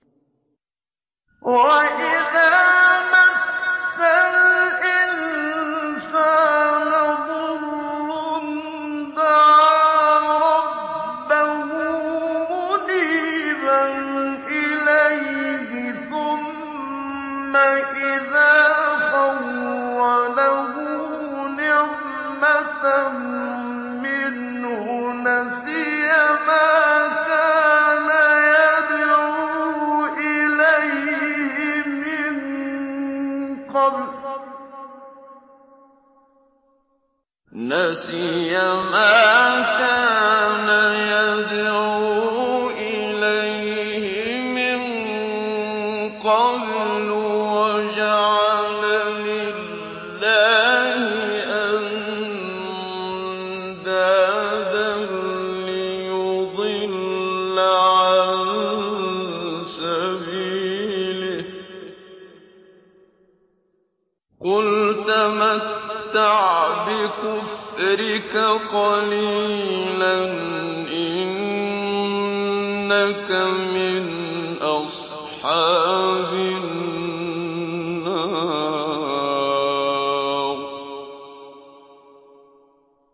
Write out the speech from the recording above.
۞ وَإِذَا مَسَّ الْإِنسَانَ ضُرٌّ دَعَا رَبَّهُ مُنِيبًا إِلَيْهِ ثُمَّ إِذَا خَوَّلَهُ نِعْمَةً مِّنْهُ نَسِيَ مَا كَانَ يَدْعُو إِلَيْهِ مِن قَبْلُ وَجَعَلَ لِلَّهِ أَندَادًا لِّيُضِلَّ عَن سَبِيلِهِ ۚ قُلْ تَمَتَّعْ بِكُفْرِكَ قَلِيلًا ۖ إِنَّكَ مِنْ أَصْحَابِ النَّارِ